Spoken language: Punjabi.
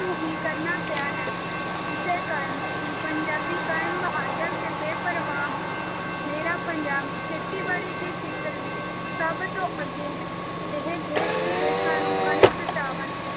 ਨੂੰ ਹੀ ਕਰਨਾ ਪਿਆ ਹੈ, ਇਸੇ ਕਾਰਨ ਹੀ ਪੰਜਾਬੀ ਕੌਮ ਬਹਾਦਰ ਤੇ ਬੇਪ੍ਰਵਾਹ ਹੈ, ਮੇਰਾ ਪੰਜਾਬ ਖੇਤੀਬਾੜੀ ਦੇ ਖੇਤਰ ਵਿੱਚ ਸਭ ਤੋਂ ਅੱਗੇ ਹੈ, ਇਹ ਦੇਸ ਵਿਦੇਸਾਂ ਨੂੰ ਕਣਕ, ਚਾਵਲ,